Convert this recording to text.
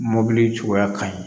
Mɔbili cogoya ka ɲi